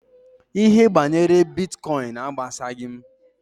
Ihe banyere Bitkọin agbasaghị m.